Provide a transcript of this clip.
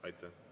Aitäh!